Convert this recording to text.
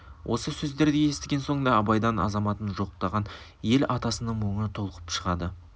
осы сөздерді естіген соң да абайдан азаматын жоқтаған ел атасының мұңы толқып шығады